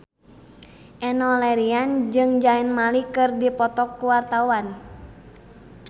Enno Lerian jeung Zayn Malik keur dipoto ku wartawan